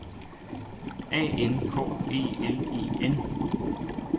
A N K E L E N